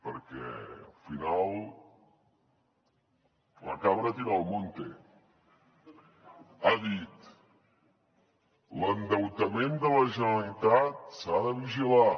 perquè al final la cabra tira al monte ha dit l’endeutament de la generalitat s’ha de vigilar